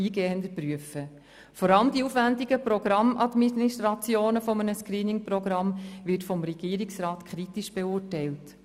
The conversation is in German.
Vor allem die aufwendige Programmadministration eines Screening-Programms wird durch den Regierungsrat kritisch beurteilt.